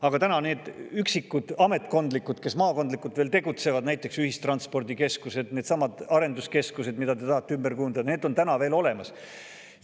Aga täna need üksikud, kes maakondlikult veel tegutsevad, näiteks ühistranspordikeskused, needsamad arenduskeskused, mida te tahate ümber kujundada, on veel olemas.